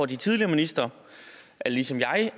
de tidligere ministre ligesom jeg